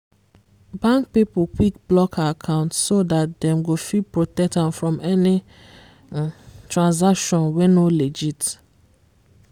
bank people quick block her account so that dem go fit protect am from any transaction wey no legit